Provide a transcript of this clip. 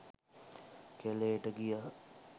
කැළේට ගියා.